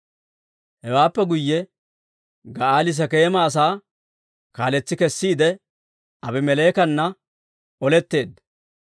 Hewaappe guyye Ga'aali Sekeema asaa kaaletsi kesiide, Aabimeleekana oletteedda.